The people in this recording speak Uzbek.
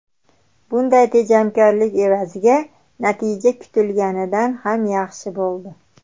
Bunday tejamkorlik evaziga natija kutilganidan ham yaxshi bo‘ldi.